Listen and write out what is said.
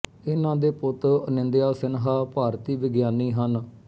ਇਨ੍ਹਾਂ ਦੇ ਪੁੱਤ ਅਨਿੰਦਿਆ ਸਿਨਹਾ ਭਾਰਤੀ ਵਿਗਿਆਨੀ ਹਨ